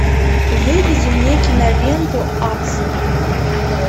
выведи мне киноленту аксель